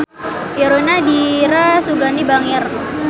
Irungna Dira Sugandi bangir